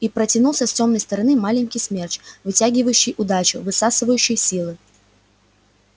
и протянулся с тёмной стороны маленький смерч вытягивающий удачу высасывающий силы